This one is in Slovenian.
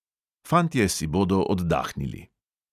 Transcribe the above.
Fantje si bodo oddahnili.